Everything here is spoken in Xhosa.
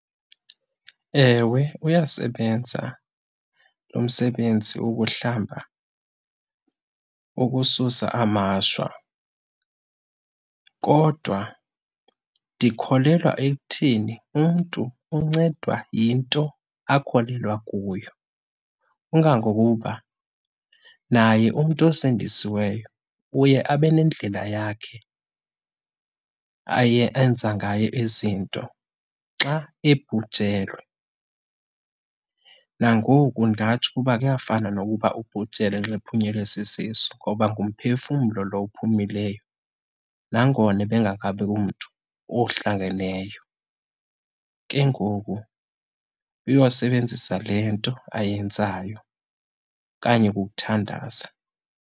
Ewe, uyasebenza lo msebenzi wokuhlamba ukususa amashwa. Kodwa ndikholelwa ekuthini, umntu uncedwa yinto akholelwa kuyo. Kangangokuba naye umntu osindisiweyo uye abe nendlela yakhe aye, enza ngayo izinto xa ebhujelwe. Nangoku ndingatsho ukuba kuyafana nokuba ubhujelwe xa ephunyelwe sisisu ngoba ngumphefumlo lo uphumileyo, nangona ebengekabi umntu ohlangeneyo. Ke ngoku uyosebenzisa le nto ayenzayo okanye kukuthandaza.